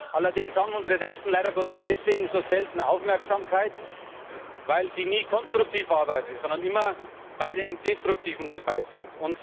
Allerdings haben unsere Rechten leider Gottes deshalb so selten Aufmerksamkeit, weil sie nie konstruktiv arbeiten, sondern immer bei den Destruktiven dabei sind.